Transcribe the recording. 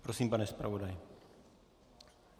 Prosím, pane zpravodaji.